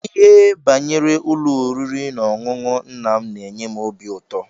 Ihe banyere ụlọ oriri na-ọṅụṅụ nna m n'enye m óbị ụtọ.